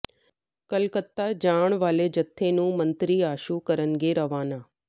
ਕਲਕੱਤਾ ਜਾਣ ਵਾਲੇ ਜੱਥੇ ਨੂੰ ਮੰਤਰੀ ਆਸ਼ੂ ਕਰਨਗੇ ਰਵਾਨਾ